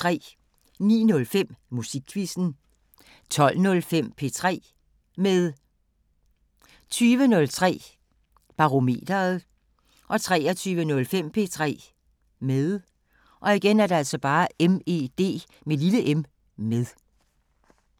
09:05: Musikquizzen 12:05: P3 med 20:03: Barometeret 23:05: P3 med